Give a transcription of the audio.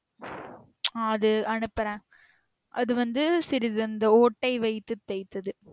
ஆஹ் அது அனுப்புற அது வந்து சிறிது அந்த ஓட்டை வைத்து தைத்தது